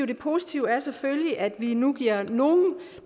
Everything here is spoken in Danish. det positive er selvfølgelig at vi nu giver nogle